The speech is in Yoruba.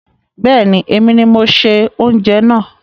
Bẹ́ẹ̀ni, èmi ni mo ṣe oúnjẹ náà